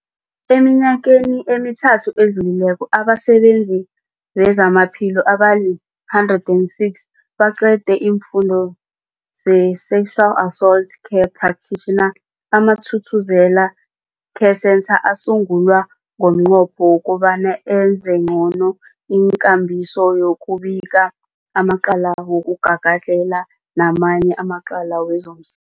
Eminyakeni emithathu edluleko, abasebenzi bezamaphilo abali-106 baqede isiFundo se-Sexual Assault Care Practitioner. AmaThuthuzela Care Centres asungulwa ngomnqopho wokobana enze ngcono ikambiso yokubika amacala wokugagadlhela namanye amacala wezoms